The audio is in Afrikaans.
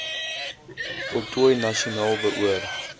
voltooi nasionaal beoor